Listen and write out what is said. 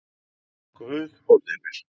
Guð forði mér.